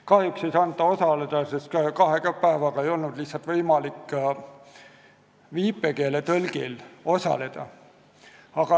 Kahjuks ei saanud ta osaleda, sest kahe päevaga ei olnud lihtsalt võimalik viipekeeletõlki leida.